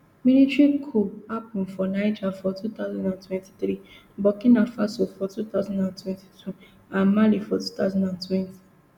military coups happun for niger for two thousand and twenty-three burkina faso for two thousand and twenty-two and mali for two thousand and twenty